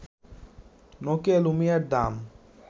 Nokia লুমিয়ার দাম